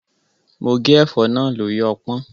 Mo gé ẹ̀fọ́ náà lórí ọpọ́n.